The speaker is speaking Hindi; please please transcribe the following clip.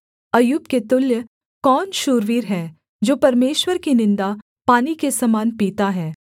अय्यूब के तुल्य कौन शूरवीर है जो परमेश्वर की निन्दा पानी के समान पीता है